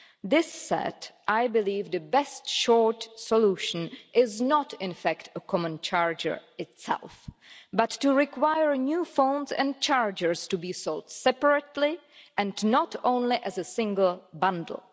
That said, I believe the best short solution is not, in fact, a common charger itself, but to require new phones and chargers to be sold separately, and not only as a single bundle.